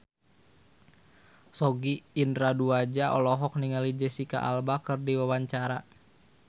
Sogi Indra Duaja olohok ningali Jesicca Alba keur diwawancara